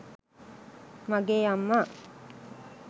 මගේ අම්මා